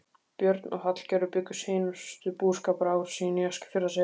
Björn og Hallgerður bjuggu seinustu búskaparár sín í Eskifjarðarseli.